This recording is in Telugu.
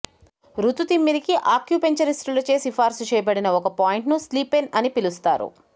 ఋతు తిమ్మిరికి ఆక్యుపెక్టర్స్యూటిస్టులచే సిఫార్సు చేయబడిన ఒక పాయింట్ను స్లీపెన్ అని పిలుస్తారు